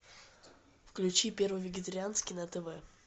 включи первый вегетарианский на тв